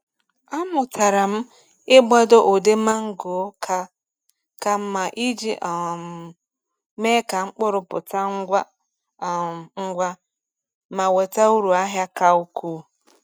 Amụtara m ịgbado ụdị mango ka ka mma iji um mee ka mkpụrụ pụta ngwa um ngwa ma weta uru ahịa ka ukwuu.